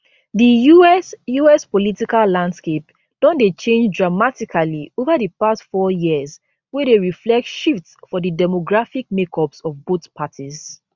di us us political landscape don dey change dramatically ova di past four years wey dey reflect shifts for di demographic makeups of both parties